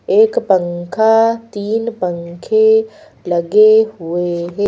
एक पंखा तीन पंखे लगे हुए हैं।